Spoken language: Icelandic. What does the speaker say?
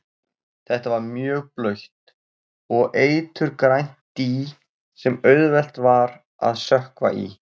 Þetta var mjög blautt og eiturgrænt dý sem auðvelt var að sökkva í.